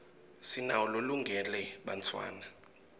sinawo lolungele bantfwana